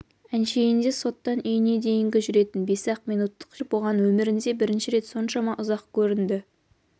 әншейінде соттан үйіне дейінгі жүретін бес-ақ минуттық жер бұған өмірінде бірінші рет соншама ұзақ көрінді